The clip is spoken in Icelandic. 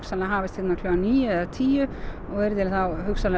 hafist hérna klukkan níu eða tíu og verið þá